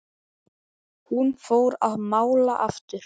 Hún fór að mála aftur.